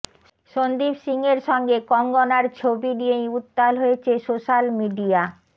সন্দীপ সিংয়ের সঙ্গে কঙ্গনার ছবি নিয়েই উত্তাল হয়েছে সোশ্যাল মিডিয়া